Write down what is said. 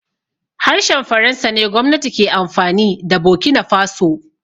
Harshen faransa ne gwamnati ke amfani da bokinafaso